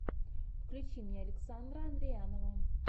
включи мне александра андреянова